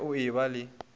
ge o e ba le